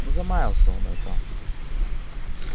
ну замялся он это